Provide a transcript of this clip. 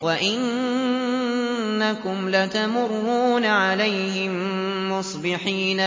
وَإِنَّكُمْ لَتَمُرُّونَ عَلَيْهِم مُّصْبِحِينَ